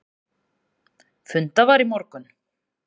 Fundað var í morgun.